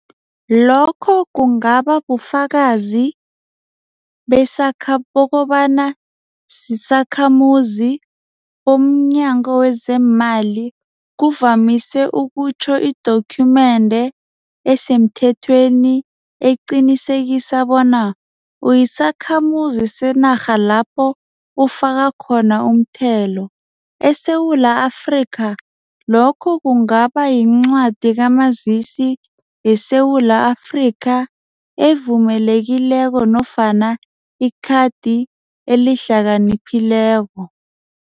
Lokho kungaba bufakazi bokobana sisakhamuzi bomnyango wezeemali kuvamise ukutjho idokhumende esemthethweni eqinisekisa bona uyisakhamuzi senarha lapho ufaka khona umthelo. ESewula Afrika lokho kungaba yincwadi kamazisi yeSewula Afrika evumelekileko nofana ikhadi elihlakaniphileko.